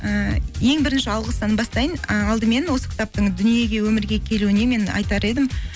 ііі ең бірінші алғыстан бастайын і алдымен осы кітаптың дүниеге өмірге келуіне мен айтар едім